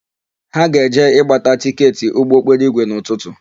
Ha ga-eje ịgbata tịketị ụgbọokporoigwe n'ụtụtụ.